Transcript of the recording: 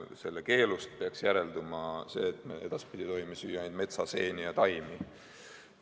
Sellest keelust peaks järelduma see, et me edaspidi tohime süüa metsaseeni ja taimi.